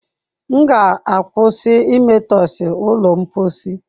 M ga-akwụsị imetọsị ụlọ mposi.